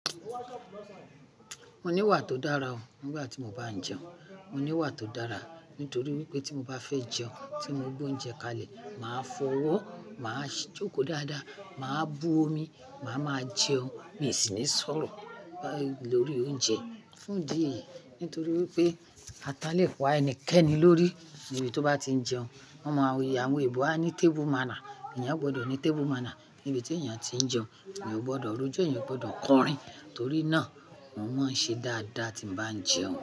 Mo ní wà tó dára o. Nígbà tí mo bá jẹun, mo ní wà tó dára. Nítorí wípé tí mo bá fẹ́ jẹun, tí mo gbó oúnjẹ kalẹ̀, màá fọwọ́, màá jókòó dáadáa, màá bú omi, màá máa jẹun. Mi sì máa sọ̀rọ̀ lórí oúnjẹ fún dí yi. Nítorí wípé ata lè pa ẹnikẹ́ni lórí nibi tó bá ti jẹun. Wọ́n mọ àwón Ẹ̀bọ̀ a ní tábù mána. Ẹ̀yàn ò gbọdọ̀ ní tábù mána níbi tí èèyàn tí jẹun. Ẹ̀yàn ò gbọdọ̀ rojo, ẹ̀yàn ò gbọdọ̀ kọrin. Torí náà, mo máa ń ṣe dáadáa tí n bá jẹun.